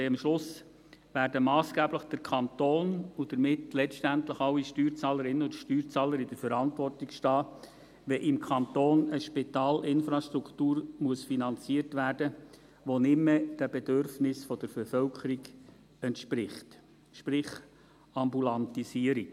Denn am Schluss werden der Kanton und damit letztendlich alle Steuerzahlerinnen und Steuerzahler massgeblich in der Verantwortung stehen, wenn im Kanton eine Spitalinfrastruktur finanziert werden muss, die nicht mehr den Bedürfnissen der Bevölkerung entspricht, sprich: Ambulantisierung.